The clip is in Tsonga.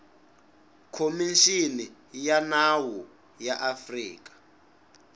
khomixini ya nawu ya afrika